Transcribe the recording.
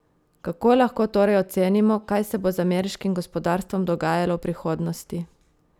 Kako lahko torej ocenimo, kaj se bo z ameriškim gospodarstvom dogajalo v prihodnosti?